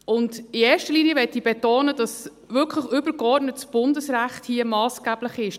In erster Linie möchte ich betonen, dass hier wirklich übergeordnetes Bundesrecht massgeblich ist.